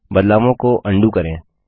बदलावों को अंडू करें